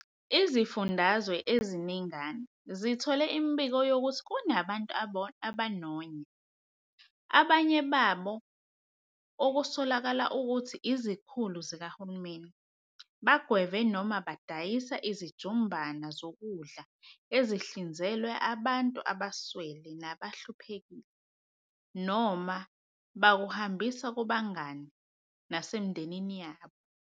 Izifundazwe eziningana zithole imibiko yokuthi kunabantu abanonya, abanye babo okusolakala ukuthi izikhulu zikahulumeni, bagweve noma badayisa izijumbana zokudla ezihlinzekelwe abantu abaswele nabahluphekile, noma bakuhambisa kubangani nasemindenini yabo.